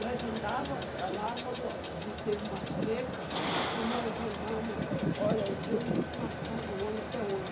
Nós andava lá quando teve uma seca, que nós andamos... Olha, eu tenho isso marcado hoje, até hoje.